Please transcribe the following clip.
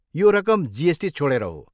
यो रकम जिएसटी छोडेर हो।